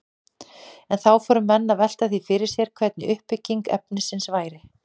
En þá fóru menn að velta því fyrir sér hvernig uppbygging efnisins væri.